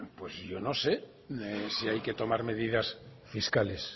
yo no sé si hay que tomar medidas fiscales